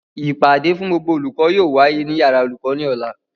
Ìpàdé fún gbogbo olùkọ́ yóò wáyé ní yàrá olùkọ́ ní Ọ̀la